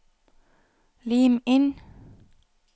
Lim inn